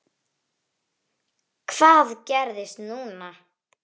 Hvað gerist núna?